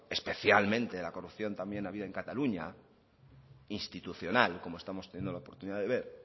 especialmente de la corrupción también habida en cataluña institucional como estamos teniendo la oportunidad de ver